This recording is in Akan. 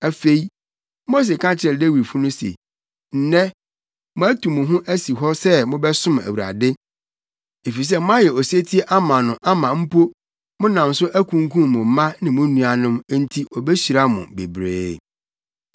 Afei, Mose ka kyerɛɛ Lewifo no se, “Nnɛ, moatu mo ho asi hɔ sɛ mobɛsom Awurade, efisɛ moayɛ osetie ama no ama mpo, monam so akunkum mo mma ne mo nuanom, enti obehyira mo bebree.”